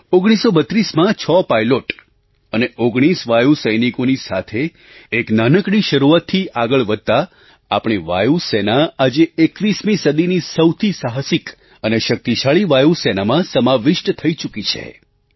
1932માં 6 pilot અને 19 વાયુ સૈનિકોની સાથે એક નાનકડી શરૂઆતથી આગળ વધતાં આપણી વાયુ સેના આજે 21મી સદીની સૌથી સાહસિક અને શક્તિશાળી વાયુ સેનામાં સમાવિષ્ટ થઈ ચૂકી છે